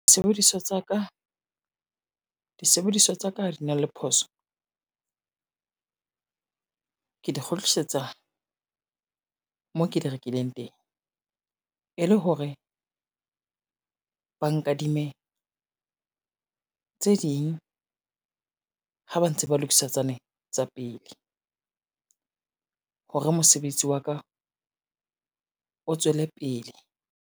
Disebediswa tsa ka ha di na le phoso, ke di kgutlisetsa mo ke di rekileng teng, e le hore ba nkadime tse ding, ha ba ntse ba lokisa tsane tsa pele. Hore mosebetsi wa ka o tswele pele.